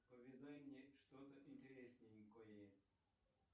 поведай мне что то интересненькое